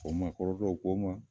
Ko maakɔrɔ dɔw ko n ma